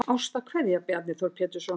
Ástarkveðja Bjarni Þór Pétursson